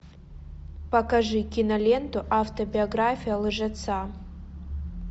покажи киноленту автобиография лжеца